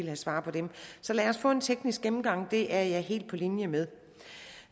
have svar på dem så lad os få en teknisk gennemgang det er jeg helt på linje med